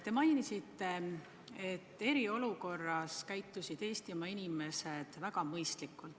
Te mainisite, et eriolukorras käitusid Eestimaa inimesed väga mõistlikult.